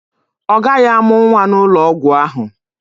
Ọ gaghị amụ nwa n'ụlọ ọgwụ ahụ.